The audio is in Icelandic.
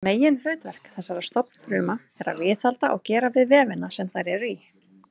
Meginhlutverk þessara stofnfrumna er að viðhalda og gera við vefina sem þær eru í.